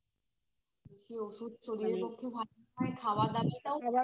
বেশি ওষুধ শরীরের পক্ষে ভালো নয় আবার খাওয়া দাওয়াটাও তো